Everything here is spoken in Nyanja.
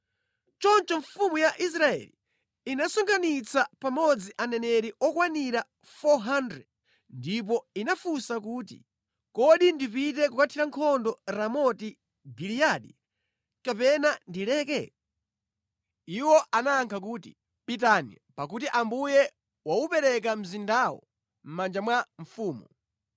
Choncho mfumu ya Israeli inasonkhanitsa pamodzi aneneri okwanira 400, ndipo inawafunsa kuti, “Kodi ndipite kukathira nkhondo Ramoti Giliyadi, kapena ndileke?” Iwo anayankha kuti, “Pitani, pakuti Ambuye waupereka mzindawo mʼmanja mwa mfumu.”